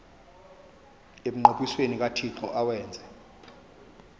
emnqophisweni kathixo awenze